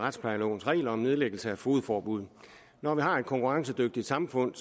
af retsplejelovens regler om nedlæggelse af fogedforbud når vi har et konkurrencedygtigt samfund